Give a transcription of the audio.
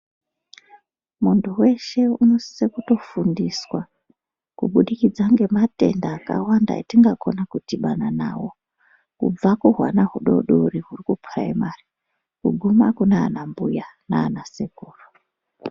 Muntu weshe unosise kutofundiswa kubudikidza ngematenda akawanda etingakona kudhibana nawo. Kubva kuhwana hudoodori huri kupuraimari kuguma kunaanambuya naana sekuru.